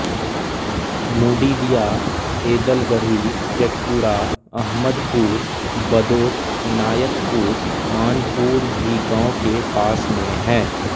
मुडिलिया एदलगढ़ी जटपुरा अहमदपुर बदौठ इनायतपुर मानपुर भी गांव के पास में हैं